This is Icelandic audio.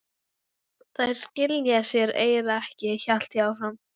Þær skila sér eiginlega ekki, hélt ég áfram.